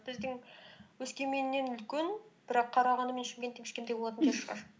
біздің өскеменнен үлкен бірақ қарағанды мен шымкенттен кішкентай болатын шығар